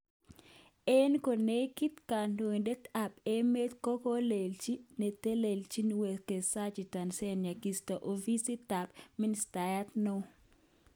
Oin konekit, Kondoidet ab emet kokolenchi eletelelchin Uwekezaji Tanzania kisto ofisit tab ministayat neo